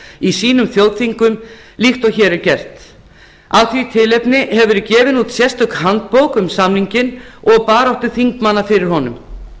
í sínum þjóðþingum líkt og hér er gert af því tilefni hefur verið gefin út sérstök handbók um samninginn og baráttu þingmanna fyrir honum